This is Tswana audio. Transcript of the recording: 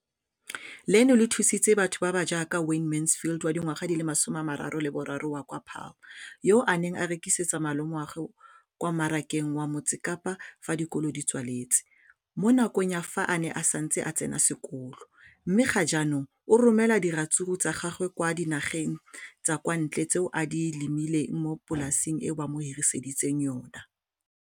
leno le thusitse batho ba ba jaaka Wayne Mansfield, 33, wa kwa Paarl, yo a neng a rekisetsa malomagwe kwa Marakeng wa Motsekapa fa dikolo di tswaletse, mo nakong ya fa a ne a santse a tsena sekolo, mme ga jaanong o romela diratsuru tsa gagwe kwa dinageng tsa kwa ntle tseo a di lemileng mo polaseng eo ba mo hiriseditseng yona.